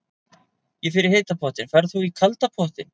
Ég fer í heita pottinn. Ferð þú í kalda pottinn?